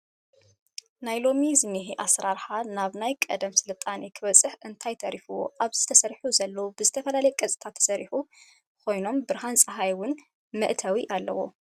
ናይ ሎሚ ዝኒሀ ኣሰራርሓ ናብ ናየ ቀደም ስልጣነ ክበፅሕ እንታይ ተሪፊዎ ኣብዚ ተሰሪሑ ዘሎ ብዝተፈላለዩ ቅርፂታት ዝተሰርሑ ኮይኖም ብርሃን ፀሃይ እውን መእተው ኣለዎ።